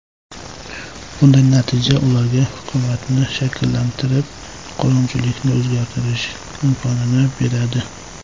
Bunday natija ularga hukumatni shakllantirib, qonunchilikni o‘zgartirish imkonini beradi.